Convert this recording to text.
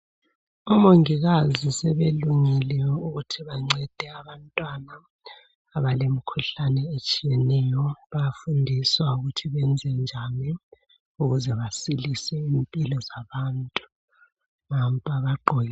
Omongikazi sebelungile ukuthi bancede abantwana abalemikhuhlane etshiyeneyo bayafundiswa ukuthi benzenjani ukuze basilise impilo zabantu nampa bagqoke.